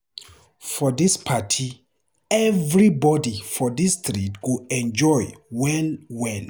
For dis party, everybodi for dis street go enjoy well well.